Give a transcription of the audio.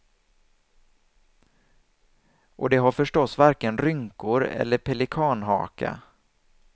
Och de har förstås varken rynkor eller pelikanhaka.